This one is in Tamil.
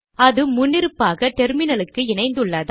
அது முன்னிருப்பாக டெர்மினலுக்கு இணைந்துள்ளதால்